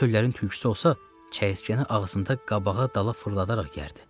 Çöllərin tülküsü olsa, çəyirtkəni ağzında qabağa-dala fırladaraq yərdi.